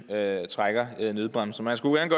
at trække i nødbremsen